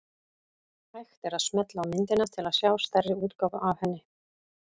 Hægt er að smella á myndina til að sjá stærri útgáfu af henni.